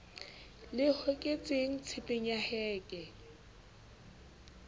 le hoketsweng tshepeng ya heke